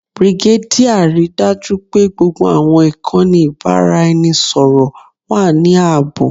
Brigadier, rii daju pe gbogbo awọn ikanni ibaraẹnisọrọ wa ni aabo.